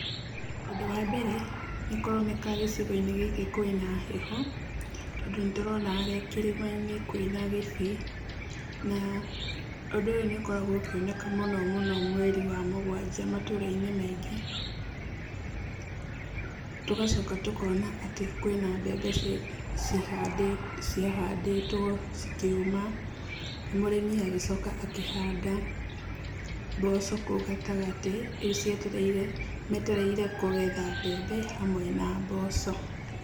Ũndũ wa mebere nĩkũroneka gĩcigo-inĩ kwĩna heho, tondũ nĩndĩrona harĩa kĩrĩma-inĩ kwĩna gĩbii. Na ũndũ ũyũ nĩ ũkoragwo ũkĩoneka mũno mũno mweri wa mũgwanja matũra-inĩ maingĩ. Tũgacoka tũkona atĩ kwĩna mbembe ciahandĩtwo cikĩũma, na mũrĩmi agĩcoka akĩhanda mboco kũu gatagatĩ, rĩu ciendereire metereire kũgetha mbembe hamwe na mboco.